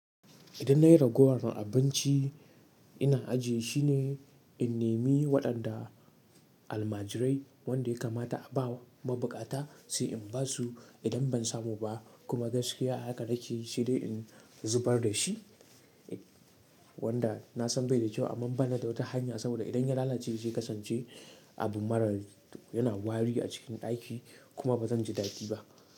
Idan na yi ragowan abinci ina ajiye shine in nimi waɗanda almajirai wanda ya kamata a bawa mabukata sai in basu idan ban samu ba kuma gaskiya haka nake saide in zubar da shi wanda na san bai da kyau amma bana da wata hanya saboda idan ya lalace zai kasance abu marar yana wari a cikin ɗaki kuma bazan ji daɗi ba.